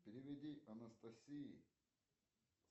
переведи анастасии